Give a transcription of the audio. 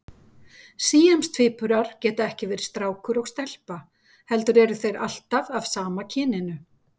Síamstvíburar geta ekki verið strákur og stelpa heldur eru þeir alltaf af sama kyninu.